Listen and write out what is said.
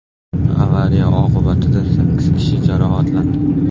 Avariya oqibatida sakkiz kishi jarohatlandi.